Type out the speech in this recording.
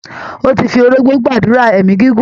Ó ti fi orógbó gbàdúrà èmí gígùn.